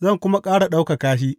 zan kuma ƙara ɗaukaka shi.